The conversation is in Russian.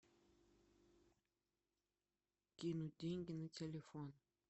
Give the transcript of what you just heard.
кинуть деньги на телефон